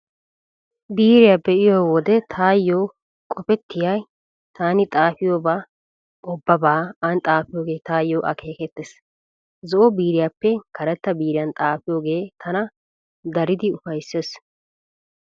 Biiriyaa be'iyo wode taayyo qopettiyay taani xaafiyooba ubbabaa aani xaafiyoogee taayyo akeekettees. Zo'o biiriyaappe karetta biiriyan xaafiyoogee tana daridi ufayssees.